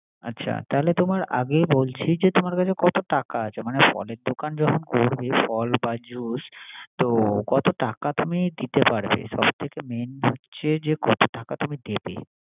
আচ্ছা তাহলে তোমার আগে বলছি। তোমার কাছে কত টাকা আছে। মানে ফলের দোকান যে করবে ফল বা জুস তো কত টাকা তুমি দিতে পারবে। সবথেকে মেইন হচ্ছে যে কত টাকা তুমি দিবে